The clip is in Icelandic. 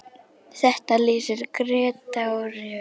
Þetta lýsir Grétari vel.